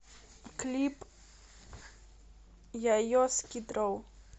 клип йайо скид роу